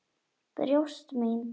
Brjóst mín.